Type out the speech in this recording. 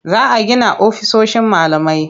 Za a gina ofisoshin malamai.